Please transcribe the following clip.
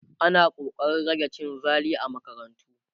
ana ƙoƙarin rage cin zali a makarantu